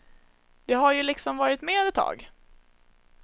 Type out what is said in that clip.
De har ju liksom varit med ett tag.